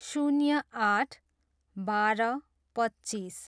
शून्य आठ, बाह्र, पच्चिस